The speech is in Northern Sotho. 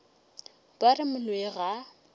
ba re moloi ga a